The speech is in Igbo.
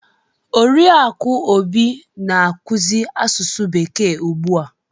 Oriakụ Obi na-akuzi asusu bekee ugbu a.